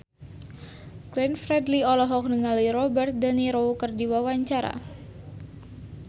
Glenn Fredly olohok ningali Robert de Niro keur diwawancara